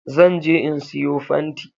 Zan je in siyo fanti